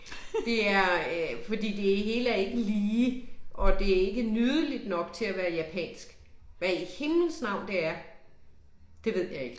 Det er øh fordi det hele er ikke lige, og det er ikke nydeligt nok til at være japansk. Hvad i himlens navn det er, det ved jeg ikke